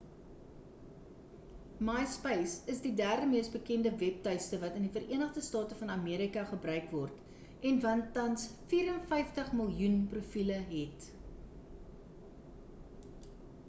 myspace is die derde mees bekende webtuiste wat in die vereenigde state van amerika gebruik word en wat tans 54 miljoen profiele het